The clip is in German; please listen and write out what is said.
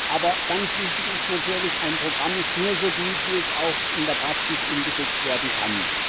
Aber ganz wichtig ist natürlich Ein Programm ist nur so gut, wie es auch in der Praxis umgesetzt werden kann.